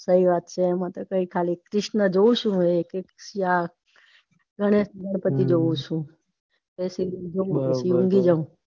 सही વાત છે એમતો કાય ખાલી કૃષ્ણ જોઉં છુ હવે या એક પછી આ ગણેશ ગણપતિ જોઉં ચુ પછી ઊંઘી જઉં.